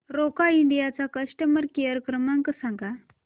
Roca India चा customer care क्रमांक सांगा